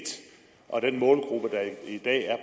og den målgruppe der i dag er